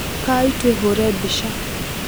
Ukai twĩhũre mbica.